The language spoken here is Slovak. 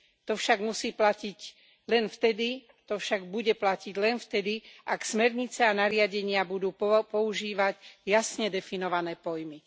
To však musí platiť len vtedy, to však bude platiť len vtedy, ak smernice a nariadenia budú používať jasne definované pojmy.